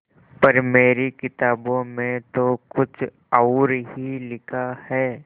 पर मेरी किताबों में तो कुछ और ही लिखा है